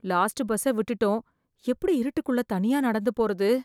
Last பஸ்ஸை விட்டுட்டோம், எப்படி இருட்டுக்குள்ள தனியா நடந்து போறது?